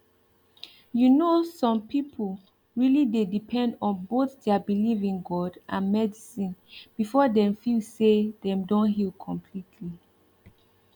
you know some people really dey depend on both their belief in god and medicine before dem feel say dem don heal completely